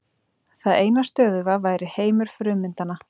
Það eina stöðuga væri heimur frummyndanna.